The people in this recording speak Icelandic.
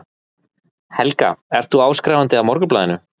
Helga: Ert þú áskrifandi að Morgunblaðinu?